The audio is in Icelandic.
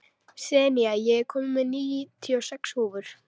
Senía, ég kom með níutíu og sex húfur!